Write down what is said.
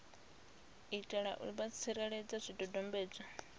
itela u vha tsireledza zwidodombedzwa